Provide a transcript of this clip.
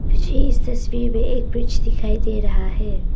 मुझे इस तस्वीर में एक ब्रिज दिखाई दे रहा है।